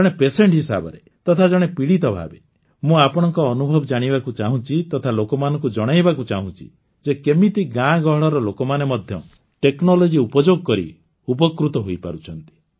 ଜଣେ ପେସେଣ୍ଟ ହିସାବରେ ତଥା ଜଣେ ପୀଡ଼ିତ ଭାବେ ମୁଁ ଆପଣଙ୍କ ଅନୁଭବ ଜାଣିବାକୁ ଚାହୁଁଛି ତଥା ଲୋକମାନଙ୍କୁ ଜଣାଇବାକୁ ଚାହୁଁଛି ଯେ କେମିତି ଗାଁ ଗହଳର ଲୋକମାନେ ମଧ୍ୟ ଟେକ୍ନୋଲୋଜି ଉପଯୋଗ କରି ଉପକୃତ ହୋଇପାରୁଛନ୍ତି